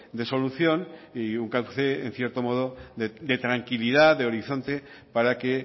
de solución y un cauce en cierto modo de tranquilidad y de horizonte para que